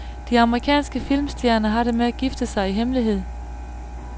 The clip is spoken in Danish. De amerikanske filmstjerner har det med at gifte sig i hemmelighed.